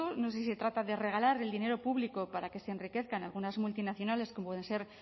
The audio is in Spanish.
no sé si se trata de regalar el dinero público para que se enriquezcan algunas multinacionales como pueden ser